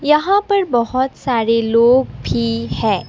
यहां पर बहुत सारे लोग भी है।